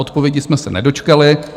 Odpovědi jsme se nedočkali.